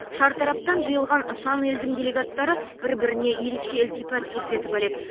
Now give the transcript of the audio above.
шартараптан жиылған сан елдің делегаттары бір біріне ерекше ілтипат көрсетіп әлек